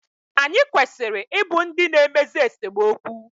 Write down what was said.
Anyị kwesịrị I bụ ndị na-emezi esemokwu